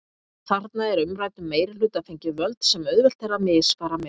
Þarna er umræddum meirihluta fengin völd sem auðvelt er að misfara með.